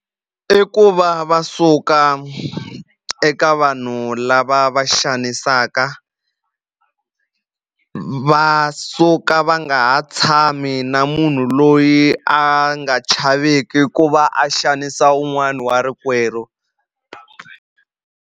I ku va va suka eka vanhu lava va xanisaka va suka va nga ha tshami na munhu loyi a nga chaveki ku va a xanisa wun'wani wa rikwerhu.